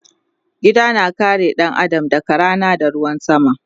Gida na kare ɗan Adam daga Rana da ruwan sama